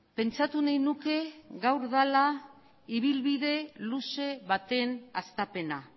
pentsatu nahi nuke gaur dala ibilbide luze baten hastapena